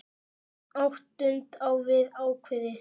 Áttund á við ákveðið tónbil.